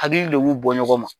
Hakili de b'u bɔ ɲɔgɔn ma.